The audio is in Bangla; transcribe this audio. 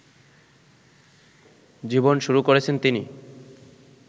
জীবন শুরু করেছেন তিনি